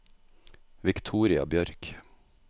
Viktoria Bjørk